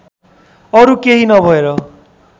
अरू केही नभएर